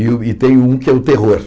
E o e tem um que é o terror.